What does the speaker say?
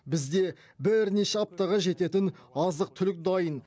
бізде бірнеше аптаға жететін азық түлік дайын